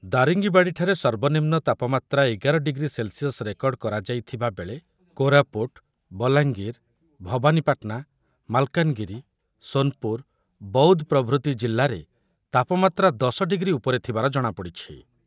ଦାରିଙ୍ଗିବାଡିଠାରେ ସର୍ବନିମ୍ନ ତାପମାତ୍ରା ଏଗାର ଡିଗ୍ରୀ ସେଲ୍ସିୟସ ରେକର୍ଡ କରାଯାଇଥିବାବେଳେ କୋରାପୁଟ, ବଲାଙ୍ଗୀର, ଭବାନୀପାଟନା, ମାଲକାନଗିରି, ସୋନପୁର, ବୌଦ୍ଧ ପ୍ରଭୃତି ଜିଲ୍ଲାରେ ତାପମାତ୍ରା ଦଶ ଡିଗ୍ରୀ ଉପରେ ଥିବାର ଜଣାପଡିଛି ।